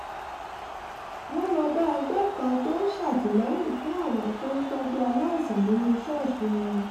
wọ́n lọ bá ẹgbẹ́ kan tó ń ṣàtìlẹ́yìn fún àwọn tó ń tọ́jú aláìsàn nínú ṣọ́ọ̀ṣì wọn